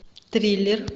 триллер